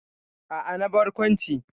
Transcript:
A'a, na barkwanci.